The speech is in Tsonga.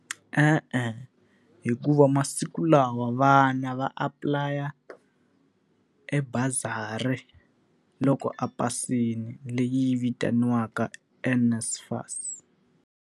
E-e, hikuva masiku lawa vana va apply-a e bazari loko a pasile leyi vitaniwaka NSFAS.